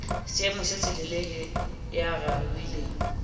seemo se selelele ya raohileng